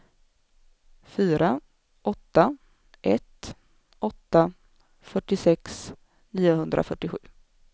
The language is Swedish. fyra åtta ett åtta fyrtiosex niohundrafyrtiosju